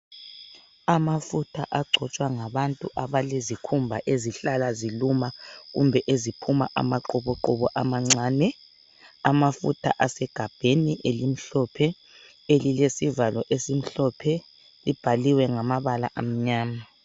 Amafutha agcotshwa ngabantu abalezikhumba ezihlala ziluma kumbe eziphuma amaqubuqubu amancane, amafutha asegabheni elimhlophe elilesivalo esimhlophe libhaliwe ngamabala amnyama.